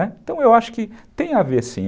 Então, eu acho que tem a ver sim.